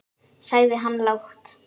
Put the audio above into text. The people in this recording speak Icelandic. sagði hann lágt.